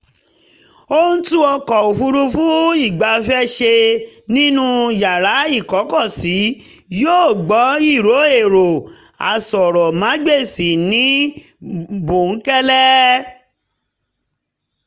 ó ń tún ọkọ̀ òfuurufú ìgbafẹ́ ṣe nínú yàrá ìkọ́kọ̀sí yóó gbọ́ ìró èrọ aṣọ̀ròmágbèsì ní bóńkẹ́lẹ́